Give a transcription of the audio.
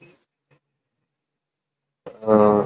அஹ்